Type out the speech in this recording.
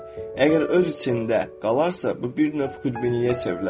Əgər öz içində qalarsa, bu bir növ xudbinliyə çevrilə bilər.